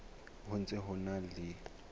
ho ntse ho na le